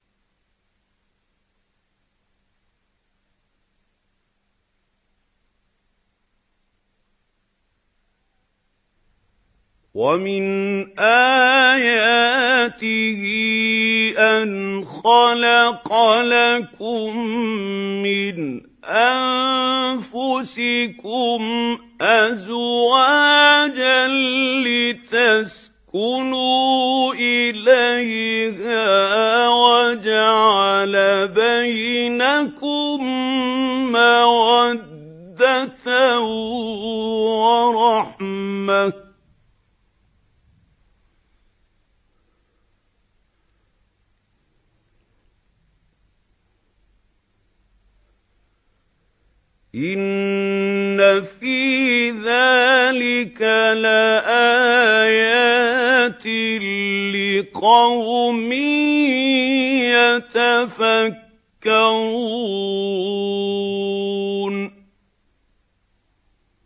وَمِنْ آيَاتِهِ أَنْ خَلَقَ لَكُم مِّنْ أَنفُسِكُمْ أَزْوَاجًا لِّتَسْكُنُوا إِلَيْهَا وَجَعَلَ بَيْنَكُم مَّوَدَّةً وَرَحْمَةً ۚ إِنَّ فِي ذَٰلِكَ لَآيَاتٍ لِّقَوْمٍ يَتَفَكَّرُونَ